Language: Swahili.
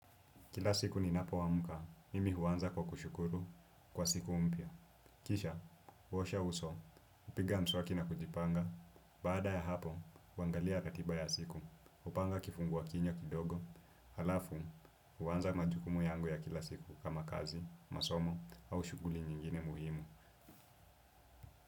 Kila siku ni napoamka, mimi huanza kwa kushukuru kwa siku mpya. Kisha, uosha uso, upiga mswaki na kujipanga, baada ya hapo, huangalia ratiba ya siku, hupanga kifungua kinywa kidogo, alafu, huanza majukumu yangu ya kila siku kama kazi, masomo, au shughuli nyingine muhimu.